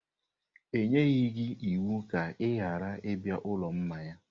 E nyeghị gị iwu ka ị ghara ịbịa ụlọ mmanya!